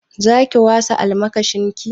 Za ki wasa almakashin ki?